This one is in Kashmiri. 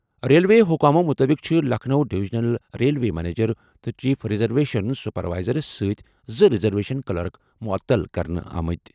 ریلوے حکامَو مُطٲبِق چھِ لکھنؤ ڈویژنل ریلوے منیجر تہٕ چیف ریزرویشن سپروائزرَس سۭتۍ زٕ ریزرویشن کلرک معطل کرنہٕ آمٕتۍ۔